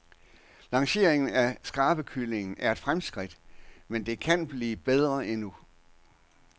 Lancering af skrabekylling er et fremskridt, men det kan blive bedre endnu.